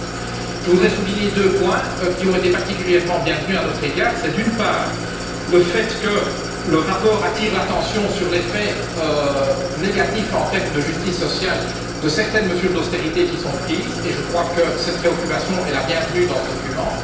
2011. Je voudrais souligner deux points qui ont été particulièrement bienvenus à notre avis. C'est, d'une part, le fait que le rapport attire l'attention sur les faits négatifs en termes de justice sociale de certaines mesures d'austérité qui sont prises et cette préoccupation est opportune dans ce document.